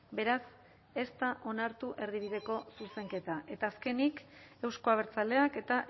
beraz ez da onartu erdibideko zuzenketa eta azkenik euzko abertzaleak eta